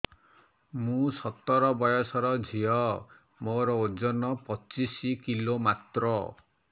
ମୁଁ ସତର ବୟସର ଝିଅ ମୋର ଓଜନ ପଚିଶି କିଲୋ ମାତ୍ର